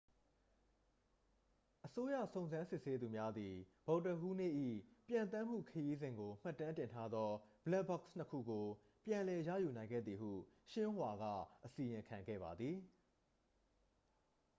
အစိုးရစုံစမ်းစစ်ဆေးသူများသည် ဗုဒ္ဓဟူးနေ့၏ ပျံသန်းမှုခရီးစဉ်ကိုမှတ်တမ်းတင်ထားသော ဘလက်ဘောက်စ်' နှစ် ခုကို ပြန်လည်ရယူနိုင်ခဲ့သည်ဟု xinhua က အစီရင်ခံခဲ့ပါသည်